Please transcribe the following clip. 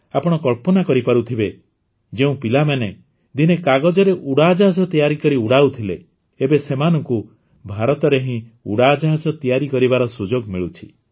ଆପଣ କଳ୍ପନା କରିପାରୁଥିବେ ଯେଉଁ ପିଲାମାନେ ଦିନେ କାଗଜରେ ଉଡ଼ାଜାହାଜ ତିଆରି କରି ଉଡ଼ାଉଥିଲେ ଏବେ ସେମାନଙ୍କୁ ଭାରତରେ ହିଁ ଉଡ଼ାଜାହାଜ ତିଆରି କରିବାର ସୁଯୋଗ ମିଳୁଛି